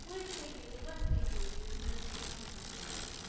પુરીજ થઈ ગઈ હોય છે યોજનાનું કઈ કામજ નથી હોતું